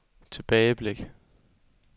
tilbageblik